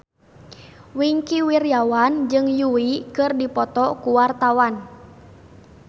Wingky Wiryawan jeung Yui keur dipoto ku wartawan